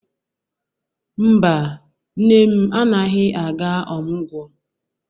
Mba, nne m anaghị aga ọmụgwọ.